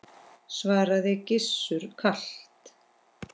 svaraði Gizur kalt.